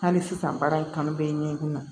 Hali sisan baara in kanu bɛ ɲɛ i kun na